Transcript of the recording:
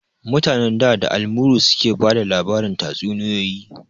Mutanen da, da almuru suke bada labarin tatsuniyoyi